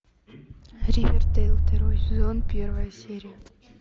ривердейл второй сезон первая серия